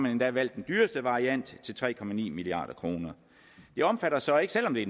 endda valgt den dyreste variant til tre milliard kroner det omfatter så ikke selv om det